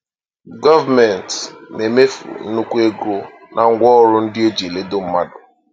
Gọọmenti na-emefu nnukwu ego na ngwaọrụ ndị e ji eledo mmadụ.